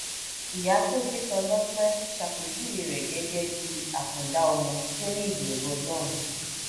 ìyá tó bí tọlọpẹ ṣàpèjúwe rẹ gẹgẹ bíi àkàndá ọmọ tó ní ìbẹrù ọlọrun